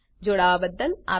જોડાવા બદ્દલ આભાર